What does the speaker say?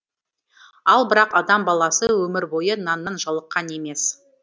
ал бірақ адам баласы өмір бойы наннан жалыққан емес